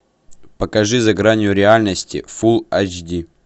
покажи за гранью реальности фул айч ди